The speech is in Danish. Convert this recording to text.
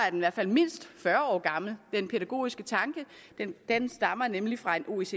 i hvert fald mindst fyrre år gammel den pædagogiske tanke stammer nemlig fra en oecd